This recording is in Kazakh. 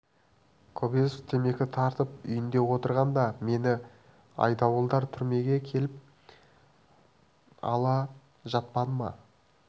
кобозев темекі тартып үйінде отырғанда мені айдауылдар түрмеге алып келе жатпады ма